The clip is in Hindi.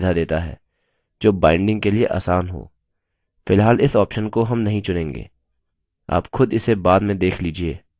फिलहाल इस option को हम नहीं चुनेंगे आप खुद इसे बाद में देख लीजिए